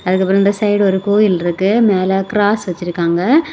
அதுக்கப்புறம் இந்த சைடு ஒரு கோயில் இருக்கு மேல கிராஸ் வச்சிருக்காங்க.